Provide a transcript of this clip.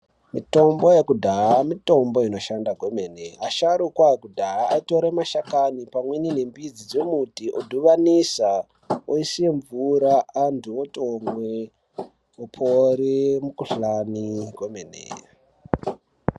Mitombo yekudhaya , mitombo inoshanda kwemene . Vasharukwa vekudhaya vaitora mashakani pamwe nembidzi vodhibanisa voisa mvura antu otomwe, opore mikhuhlani komene.